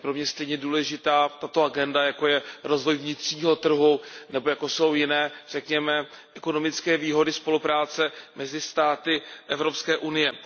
Tato agenda je pro mě stejně důležitá jako rozvoj vnitřního trhu nebo jako jsou jiné, řekněme, ekonomické výhody spolupráce mezi státy Evropské unie.